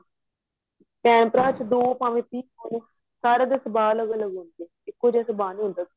ਭੈਣ ਭਰਾ ਚ ਦੋ ਭਾਵੇਂ ਤਿੰਨ ਹੋਣ ਸਾਰਿਆ ਦੇ ਸਵਾਲ ਅਲੱਗ ਅਲੱਗ ਹੁੰਦੇ ਨੇ ਇੱਕੋ ਜਿਹਾ ਸਵਾਲ ਨਹੀਂ ਹੁੰਦਾ